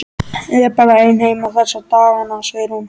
Ég er bara ein heima þessa dagana, segir hún.